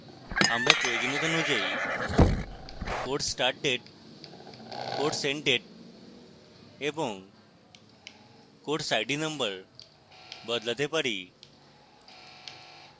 আমরা প্রয়োজনীয়তা অনুযায়ী course start date course end date এবং course id number বদলাতে পারি